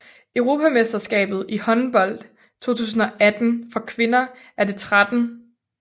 Europamesterskabet i håndbold 2018 for kvinder er det 13